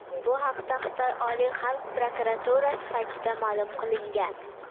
Bu haqda Xitoy Oliy xalq prokuraturasi saytida ma’lum qilingan .